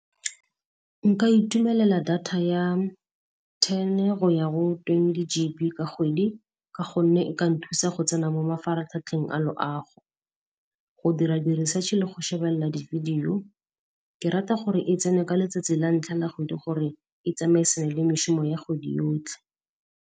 Nka itumelela data ya ten go ya go twenty G_B ka kgwedi ka gonne e ka nthusa go tsena mo mafaratlhatlheng a loago, go dira di-research le go shebella di-video. Ke rata gore e tsene ka letsatsi la ntlha la kgwedi gore e ya kgwedi yotlhe.